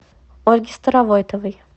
ольге старовойтовой